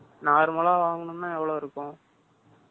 normal லா வாங்கணும்ன்னா எவ்வளவு இருக்கும்?